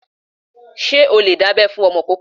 Ṣé o lè dábẹ́ fún ọmọ ìkóókó?